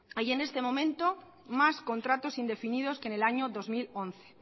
hay en este momento más contratos indefinidos que en el año dos mil once